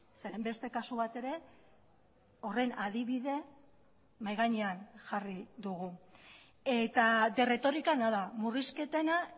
zeren beste kasu bat ere horren adibide mahai gainean jarri dugu eta de retórica nada murrizketena